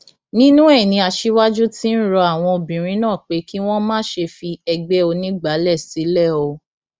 nínú ẹ ni aṣíwájú ti ń rọ àwọn obìnrin náà pé kí wọn má ṣe fi ẹgbẹ onígbàálẹ sílẹ o